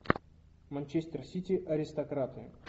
манчестер сити аристократы